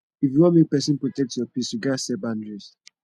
if you wan protect your peace you gats set boundaries